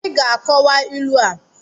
Ị ga-akowa ilu a!